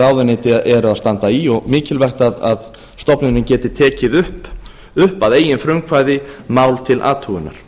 ráðuneyti eru að standa í og mikilvægt að stofnunin geti tekið upp að eigin frumkvæði mál til athugunar